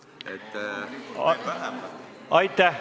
Aitäh!